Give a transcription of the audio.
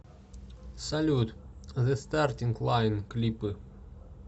салют зэ стартинг лайн клипы